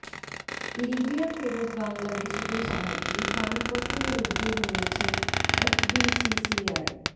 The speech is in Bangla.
লিবিয়া ফেরত বাংলাদেশিদের সাহায্যে ফান্ড গঠনের উদ্যোগ নিয়েছে এফবিসিসিআই